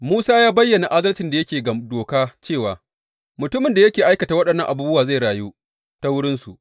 Musa ya bayyana adalcin da yake ga Doka cewa, Mutumin da ya aikata waɗannan abubuwa zai rayu ta wurinsu.